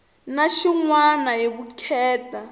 na xin wana hi vukheta